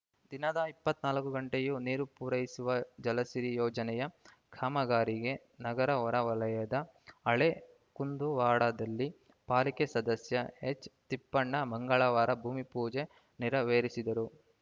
ದಿನದ ಇಪ್ಪತ್ತ್ ನಾಲ್ಕು ಗಂಟೆಯೂ ನೀರು ಪೂರೈಸುವ ಜಲಸಿರಿ ಯೋಜನೆಯ ಕಾಮಗಾರಿಗೆ ನಗರ ಹೊರ ವಲಯದ ಹಳೇ ಕುಂದುವಾಡದಲ್ಲಿ ಪಾಲಿಕೆ ಸದಸ್ಯ ಎಚ್‌ತಿಪ್ಪಣ್ಣ ಮಂಗಳವಾರ ಭೂಮಿಪೂಜೆ ನೆರವೇರಿಸಿದರು